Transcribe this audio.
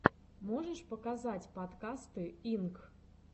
можешь показать подкасты инк